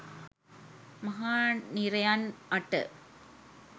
මහා නිරයන් අට